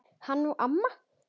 Hann og amma.